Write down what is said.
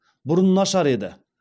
бұрын нашар еді